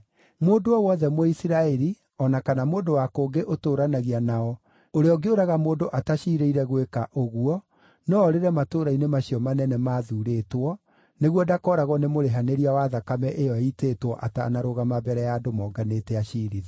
Mũndũ o wothe Mũisiraeli o na kana mũndũ wa kũngĩ ũtũũranagia nao ũrĩa ũngĩũraga mũndũ ataciirĩire gwĩka ũguo no oorĩre matũũra-inĩ macio manene maathuurĩtwo nĩguo ndakooragwo nĩ mũrĩhanĩria wa thakame ĩyo ĩitĩtwo atanarũgama mbere ya andũ monganĩte aciirithio.